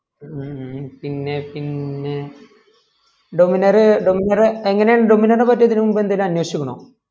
ഹ്മ് പിന്നെ പിന്നെ dominar dominar എങ്ങനയാണ് dominar എ പറ്റി അതികം മുബേ അനേഷിക്കുണോ